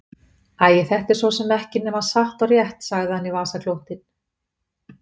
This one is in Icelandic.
Æi, þetta er svo sem ekki nema satt og rétt, sagði hann í vasaklútinn.